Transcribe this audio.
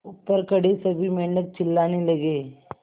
ऊपर खड़े सभी मेढक चिल्लाने लगे